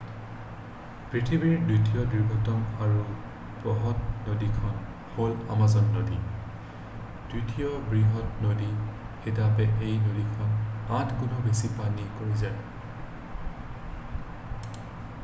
পৃথিৱীৰ দ্বিতীয় দীৰ্ঘতম আৰু বহৎ নদীখন হ'ল আমাজান নদী দ্বিতীয় বৃহৎ নদী হিচাপে এই নদীখনে 8 গুণ বেছি পানী কঢ়িয়ায়